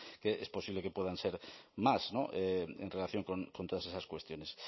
que es posible que puedan ser más en relación con todas esas cuestiones